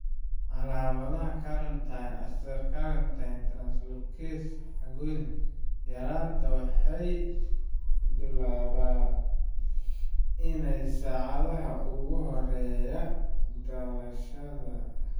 Calaamadaha carnitine acylcarnitine translocase yaraanta waxay badanaa bilaabmaan saacadaha ugu horeeya dhalashada kadib.